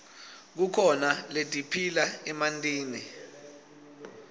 kukhona letiphila emantini